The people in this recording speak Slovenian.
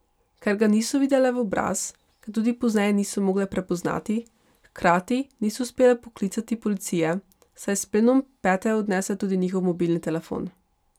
Ker ga niso videle v obraz, ga tudi pozneje niso mogle prepoznati, hkrati niso uspele poklicati policije, saj je s plenom pete odnesel tudi njihov mobilni telefon.